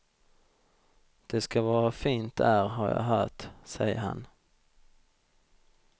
Det ska vara fint där har jag hört, säger han.